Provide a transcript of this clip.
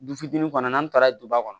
Du fitinin kɔnɔ n'an taara duba kɔnɔ